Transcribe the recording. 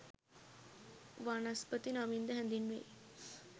වනස්පති නමින්ද හැඳින්වෙයි.